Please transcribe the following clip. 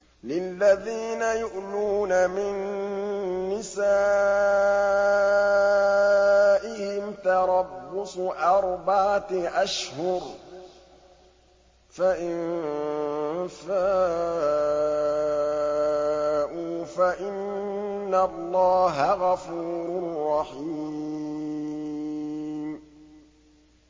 لِّلَّذِينَ يُؤْلُونَ مِن نِّسَائِهِمْ تَرَبُّصُ أَرْبَعَةِ أَشْهُرٍ ۖ فَإِن فَاءُوا فَإِنَّ اللَّهَ غَفُورٌ رَّحِيمٌ